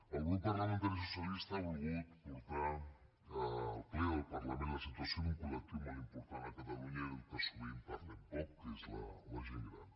el grup parlamentari socialista ha volgut portar al ple del parlament la situació d’un col·lectiu molt important a catalunya i del qual sovint parlem poc que és la gent gran